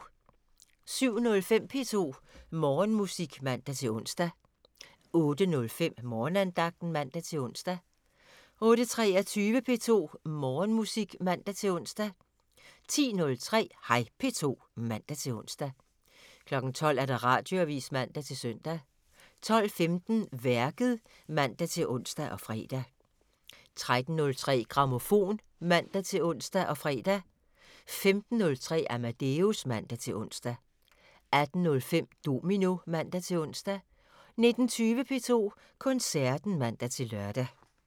07:05: P2 Morgenmusik (man-ons) 08:05: Morgenandagten (man-ons) 08:23: P2 Morgenmusik (man-ons) 10:03: Hej P2 (man-ons) 12:00: Radioavisen (man-søn) 12:15: Værket (man-ons og fre) 13:03: Grammofon (man-ons og fre) 15:03: Amadeus (man-ons) 18:05: Domino (man-ons) 19:20: P2 Koncerten (man-lør)